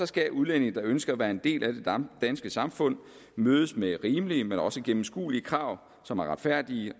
skal udlændinge der ønsker at være en del af det danske samfund mødes med rimelige men også gennemskuelige krav som er retfærdige